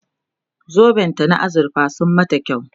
zoben ta na azurfa sun mata kyau